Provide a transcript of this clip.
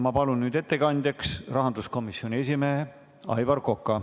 Ma palun ettekandjaks rahanduskomisjoni esimehe Aivar Koka.